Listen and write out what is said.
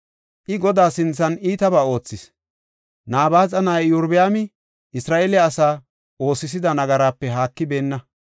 I Godaa sinthan iitabaa oothis; Nabaaxa na7ay Iyorbaami Isra7eele asaa oosisida nagaraape haakibeenna.